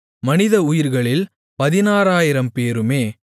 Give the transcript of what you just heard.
மனிதஉயிர்களில் 16000 பேருமே